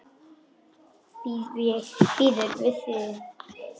Býður við þér.